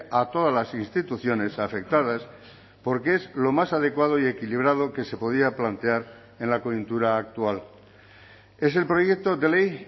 a todas las instituciones afectadas porque es lo más adecuado y equilibrado que se podía plantear en la coyuntura actual es el proyecto de ley